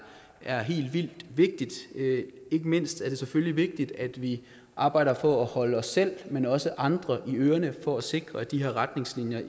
er helt vildt vigtigt ikke mindst er det selvfølgelig vigtigt at vi arbejder for at holde os selv men også andre i ørerne for at sikre at de her retningslinjer